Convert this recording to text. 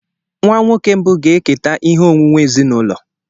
Nwa nwoke mbụ ga-eketa ihe onwunwe ezinụlọ.